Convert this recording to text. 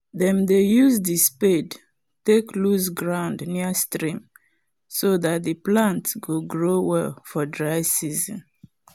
dem dey use the spade take loose ground near stream so that the plant go grow well for dry season